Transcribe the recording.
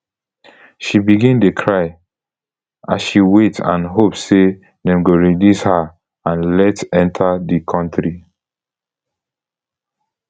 she begin dey cry as she wait and hope say dem go release her and let enta di kontri